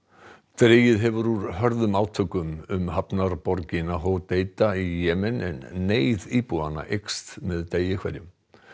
dregið hefur úr hörðum átökum um hafnarborgina í Jemen en neyð íbúanna eykst með degi hverjum